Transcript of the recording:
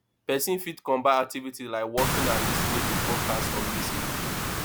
person fit combine activities like walking and lis ten ing to podcast or music